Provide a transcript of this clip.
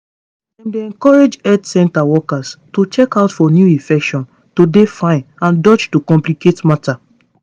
dem encourage health center workers to check out for new infection to dey fine and dodge to complicate matter